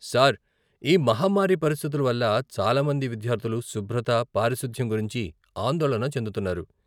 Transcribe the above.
Sir, ఈ మహమ్మారి పరిస్థితుల వల్ల, చాలా మంది విద్యార్ధులు శుభ్రత, పారిశుధ్యం గురించి ఆందోళన చెందుతున్నారు.